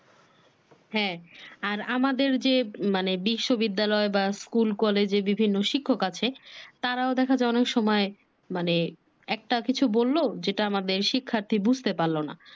হা আর আমাদের যে মানে বিশ্ববিদ্যালয় বা স্কুল কলেজে বিভিন্ন শিক্ষক আছে তারাও দেখা যায় অনেক সময় মানে একটা কিছু বললো যেটা আমাদের শিক্ষার্থী বুঝতে পারলো না